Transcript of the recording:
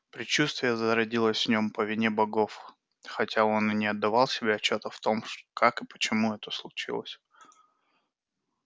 предчувствие зародилось в нем по вине богов хотя он и не отдавал себе отчёта в том как и почему это случилось